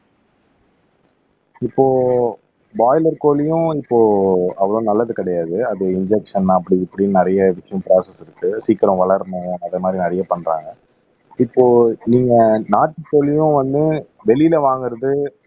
இப்போ பிராய்லர் கோழியும் இப்போ அவ்வளவு நல்லது கிடையாது அது இன்ஜெக்ஷன் அப்படி இப்படின்னு நிறைய ப்ரோஸ்ஸஸ் இருக்கு சீக்கிரம் வளரணும் அதே மாதிரி நிறைய பண்றாங்க இப்போ நீங்க நாட்டுக்கோழியும் வந்து வெளியிலே வாங்குறது